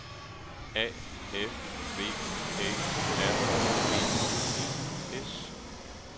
A F V Æ R G E S